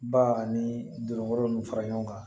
Ba ani dolo nunnu fara ɲɔgɔn kan